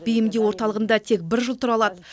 бейімдеу орталығында тек бір жыл тұра алады